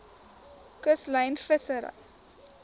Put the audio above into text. kuslyn vissery